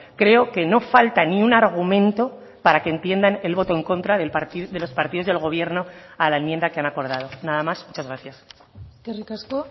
creo que no falta ni un argumento para que entiendan el voto en contra de los partidos del gobierno a la enmienda que han acordado nada más muchas gracias eskerrik asko